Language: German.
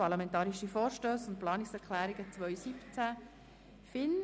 Parlamentarische Vorstsse und Planungserklrungen 2017.